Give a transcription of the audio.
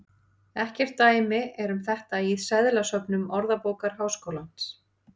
Ekkert dæmi er um þetta í seðlasöfnum Orðabókar Háskólans.